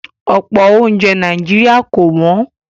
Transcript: Ọ̀pọ̀ oúnjẹ Nàìjíríà kò wọ́n